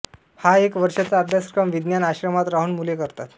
हा एक वर्षाचा अभ्यासक्रम विज्ञान आश्रमात राहून मुले करतात